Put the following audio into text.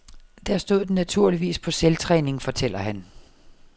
Der stod den naturligvis på selvtræning, fortæller han.